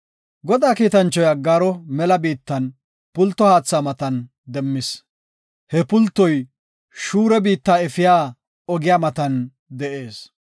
Godaa kiitanchoy Aggaaro mela biittan, pulto haatha matan demmis; he pultoy shuura biitta efiya ogiya matan de7ees.